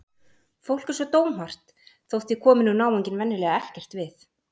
Fólk er svo dómhart þótt því komi nú náunginn venjulega ekkert við.